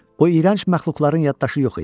O iyrənc məxluqların yaddaşı yox idi.